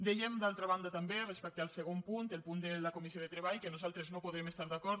dèiem d’altra banda també respecte al segon punt el punt de la comissió de treball que nosaltres no hi podem estar d’acord